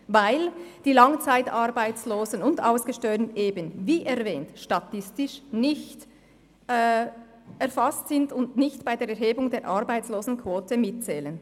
Weil die Langzeitarbeitslosen und Ausgesteuerten statistisch nicht erfasst werden, zählen sie bei der Erhebung der Arbeitslosenquote nicht mit.